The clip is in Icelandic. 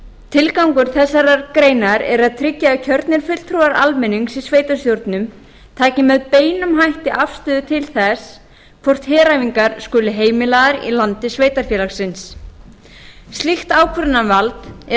tilgangur þessarar greinar er að tryggja að kjörnir fulltrúar almennings í sveitarstjórnum taki með beinum hætti afstöðu til þess hvort heræfingar skuli heimilaðar í landi sveitarfélagsins slíkt ákvörðunarvald er